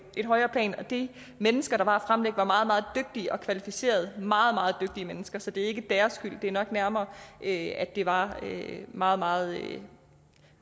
højere plan de mennesker der fremlagde var meget meget dygtige og kvalificerede meget meget dygtige mennesker så det er ikke deres skyld det er nok nærmere at det var meget meget